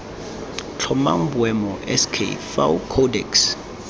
tlhomang boemo sk fao codex